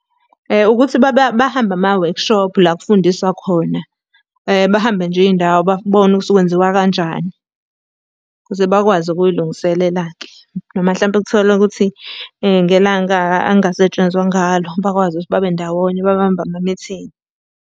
Ukuthi bahambe amawekhishophu la kufundiswa khona. Bahambe nje iy'ndawo, babone ukuthi kwenziwa kanjani, ukuze bakwazi ukuy'lungiselela-ke. Noma hlampe kutholwe ukuthi ngelanga angasetshenzwa ngalo, bakwazi ukuthi babe ndawonye, babambe amamithingi.